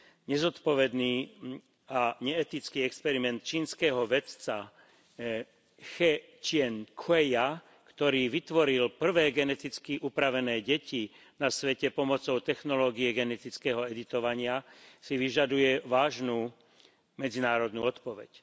Nezodpovedný a neetický experiment čínskeho vedca Che Ťien kchueja, ktorý vytvoril prvé geneticky upravené deti na svete pomocou technológie genetického editovania, si vyžaduje vážnu medzinárodnú odpoveď.